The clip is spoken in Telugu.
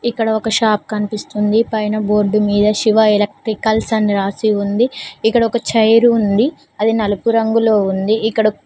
ఇక్కడ ఒక షాప్ కనిపిస్తుంది. పైన బోర్డు మీద శివ ఎలక్త్రికల్స్ అని రాసి ఉంది. ఇక్కడ ఒక చైర్ ఉంది అది నలుపు రంగులో ఉంది ఇక్కడో.